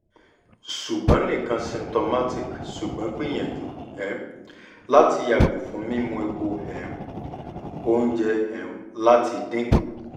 ṣugbọn nikan symptomatic ṣugbọn gbiyanju um lati yago fun mimu epo um ounje um lati dinku